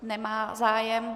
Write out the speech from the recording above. Nemá zájem.